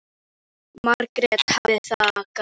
Margrét hafði þagað en nú leit hún upp.